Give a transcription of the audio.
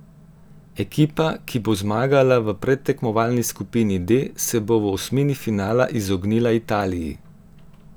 Ekipa, ki bo zmagala v predtekmovalni skupini D, se bo v osmini finala izognila Italiji.